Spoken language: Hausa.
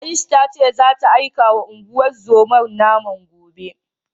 Ayush ta ce zata aikawa unguwar zomar naman gobe.